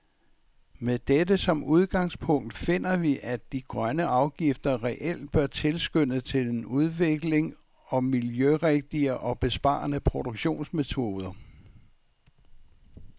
Med dette som udgangspunkt finder vi, at de grønne afgifter reelt bør tilskynde til en udvikling og miljørigtige og besparende produktionsmetoder .